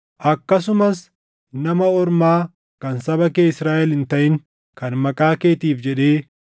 “Akkasumas nama ormaa kan saba kee Israaʼel hin taʼin kan maqaa keetiif jedhee,